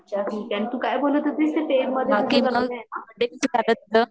अच्छा ठीक आहे तू काय बोलत होती